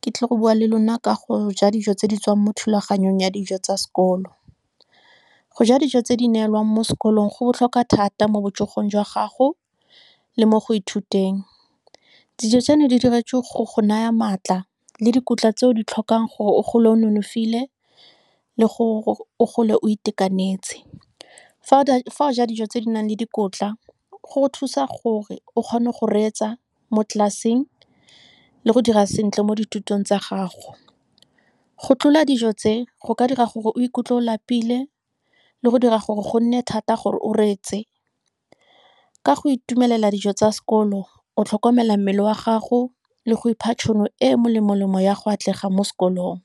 ke tlile go bua le lona ka go ja dijo tse di tswang mo thulaganyong ya dijo tsa sekolo. Go ja dijo tse di neelwang mo sekolong go botlhokwa thata mo botsogong jwa gago, le mo go ithuteng. Dijo tseno, di diretswe go go naya maatla, le dikotla tse o di tlhokang gore o gole o nonofile, le gore o gole o itekanetse. Fa o ja dijo tse di nang le dikotla, go go thusa gore o kgone go reetsa mo tlelaseng, le go dira sentle mo dithutong tsa gago. Go tlola dijo tse, go ka dira gore o ikutlwa o lapile, le go dira gore go nne thata gore o reetse. Ka go itumelela dijo tsa sekolo, o tlhokomela mmele wa gago, le go ipha tšhono e molemo lemo ya go atlega mo sekolong.